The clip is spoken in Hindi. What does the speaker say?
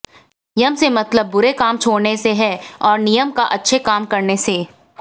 यम से मतलब बुरे काम छोड़ने से है और नियम का अच्छे काम करने से